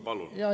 Palun!